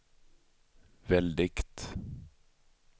väldigt